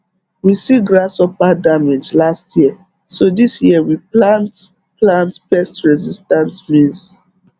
we see grasshopper damage last year so this year we plant plant pestresistant maize